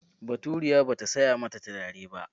Baturiya ba ta saya mata turare ba.